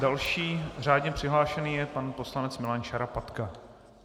Další řádně přihlášený je pan poslanec Milan Šarapatka.